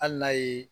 Hali n'a ye